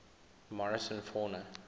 morrison fauna